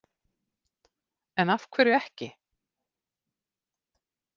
En af hverju ekki?